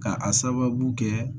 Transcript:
Ka a sababu kɛ